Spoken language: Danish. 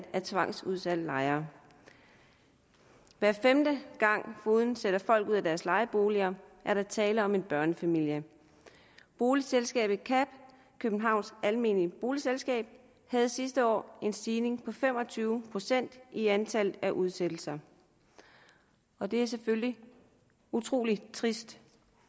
af tvangsudsatte lejere hver femte gang fogeden sætter folk ud af deres lejeboliger er der tale om en børnefamilie boligselskabet kab københavns almennyttige boligselskab havde sidste år en stigning på fem og tyve procent i antallet af udsættelser og det er selvfølgelig utrolig trist